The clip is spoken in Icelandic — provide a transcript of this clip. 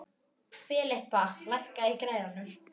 Filippa, lækkaðu í græjunum.